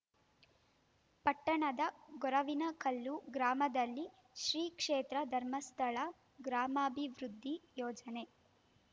ಪಟ್ಟಣದ ಗೊರವಿನಕಲ್ಲು ಗ್ರಾಮದಲ್ಲಿ ಶ್ರೀ ಕ್ಷೇತ್ರ ಧರ್ಮಸ್ಥಳ ಗ್ರಾಮಾಭಿವೃದ್ಧಿ ಯೋಜನೆ